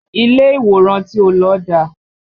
Ilé ìwòran tí ó lọ dá